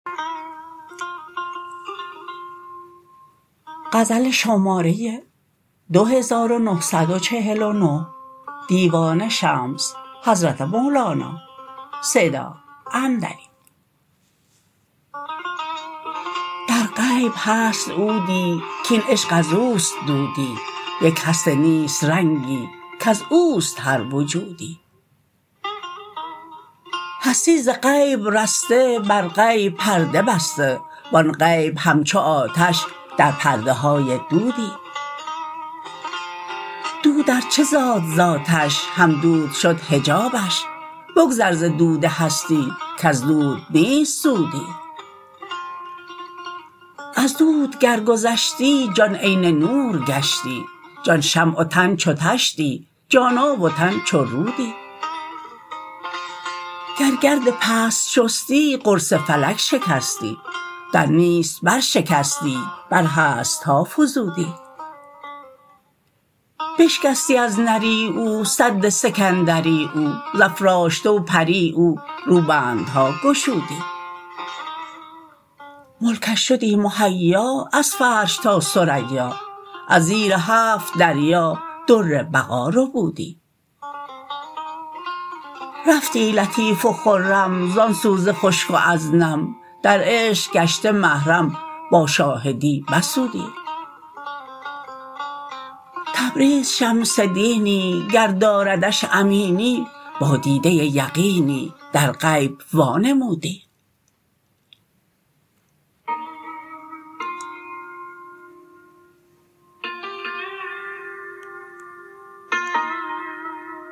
در غیب هست عودی کاین عشق از او است دودی یک هست نیست رنگی کز او است هر وجودی هستی ز غیب رسته بر غیب پرده بسته و آن غیب همچو آتش در پرده های دودی دود ار چه زاد ز آتش هم دود شد حجابش بگذر ز دود هستی کز دود نیست سودی از دود گر گذشتی جان عین نور گشتی جان شمع و تن چو طشتی جان آب و تن چو رودی گر گرد پست شستی قرص فلک شکستی در نیست برشکستی بر هست ها فزودی بشکستی از نری او سد سکندری او ز افرشته و پری او روبندها گشودی ملکش شدی مهیا از عرش تا ثریا از زیر هفت دریا در بقا ربودی رفتی لطیف و خرم زان سو ز خشک و از نم در عشق گشته محرم با شاهدی به سودی تبریز شمس دینی گر داردش امینی با دیده یقینی در غیب وانمودی